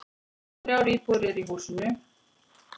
Þrjár íbúðir eru í húsinu.